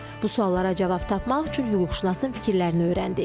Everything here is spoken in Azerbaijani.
Bu suallara cavab tapmaq üçün hüquqşünasın fikirlərini öyrəndik.